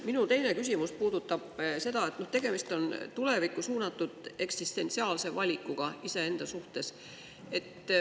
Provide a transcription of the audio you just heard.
Minu teine küsimus puudutab seda, et tegemist on tulevikku suunatud eksistentsiaalse valikuga iseenda suhtes.